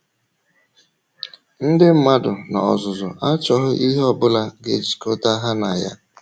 Ndị mmadụ n’ozúzù achọghị ihe ọ bụla ga-ejikọ̀tà ha na ya.